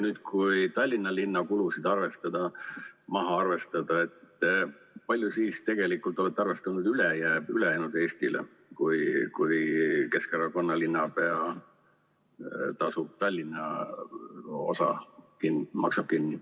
Kui Tallinna linna kulud maha arvestada, kui palju te siis tegelikult olete arvestanud ülejäänud Eestile, kui Keskerakonna esindajast linnapea maksab Tallinna osa kinni?